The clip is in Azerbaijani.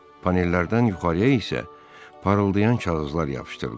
Panellərdən yuxarıya isə parıldayan kağızlar yapışdırılıb.